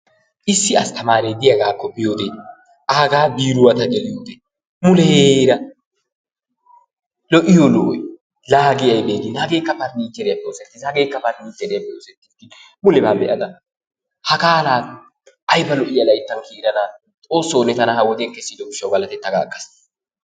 Issi astamaaree de'iyagaakka biyode aagaa biiruwa ta geliyode muleeraa lo'iyo lo"oy laa hagee aybee gin hageekka parnichcheeriyappe oosettiis, hageekka parnichcheeriyappe oosetiis, mulebaa be'ada hagaa laa ayba layttan kiydana Xoosso ne tana ha wodiyan kessiddo gishshawu galateta ga agaas.